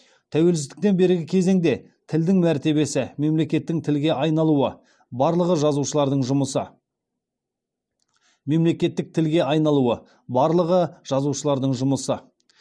тәуелсіздіктен бергі кезеңде тілдің мәртебесі мемлекеттік тілге айналуы барлығы жазушылардың жұмысы